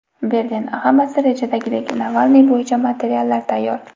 Berlin: Hammasi rejadagidek… Navalniy bo‘yicha materiallar tayyor.